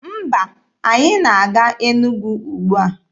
Mba, anyị na-aga Enugwu ugbua.